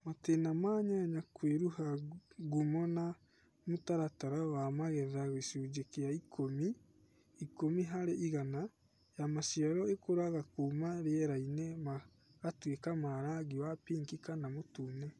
Matĩna ma nyanya kwĩruha Ngumo na Mũtaratara wa magetha gĩcunjĩ kĩa 10% (ikũmi harĩ igana)ya maciaro ĩkũraga kuuma rierainĩ magatuĩka ma rangi wa pinki kana mũtune